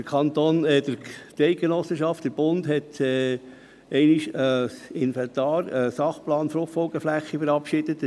– Die Eidgenossenschaft, der Bund, hat einmal ein Inventar, einen Sachplan Fruchtfolgeflächen (SP FFF) verabschiedet.